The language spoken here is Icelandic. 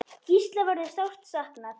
Gísla verður sárt saknað.